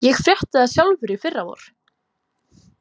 Ég frétti það sjálfur í fyrravor.